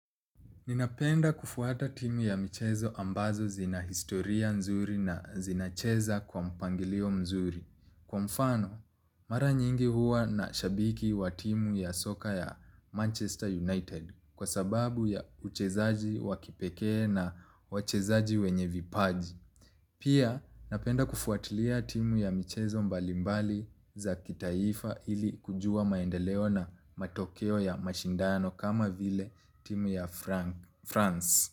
Ninapenda kufuata timu ya michezo ambazo zina historia nzuri na zinacheza kwa mpangilio mzuri. Kwa mfano, mara nyingi huwa na shabiki wa timu ya soka ya Manchester United kwa sababu ya uchezaji wakipeke na uchezaji wenye vipaji. Pia, napenda kufuatilia timu ya michezo mbalimbali za kitaifa ili kujua maendeleo na matokeo ya mashindano kama vile timu ya Frank. France.